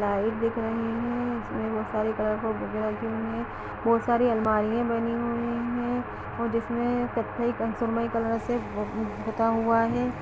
light दिख रही हैं इसमें बोहत सारे कलर के बुक रखी हुई हैं बोहत सारी अलमारियां बनी हुई हैं और जिसमे कत्थई क-सुरमई कलर से पुता हुआ है